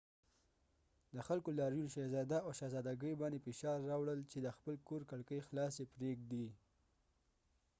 د خلکو لاریون شهزاده او شهزادګۍ باندې فشار راوړل چې د خپل کور کړکۍ خلاصې پرېږدي